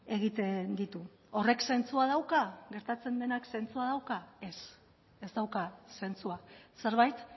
egiten ditu horrek zentzua dauka gertatzen denak zentzua dauka ez ez dauka zentzua zerbait